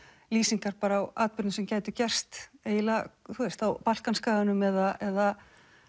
lýsingar á atburðum sem gætu gerst eiginlega á Balkanskaganum eða